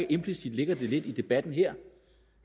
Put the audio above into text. implicit ligger lidt i debatten her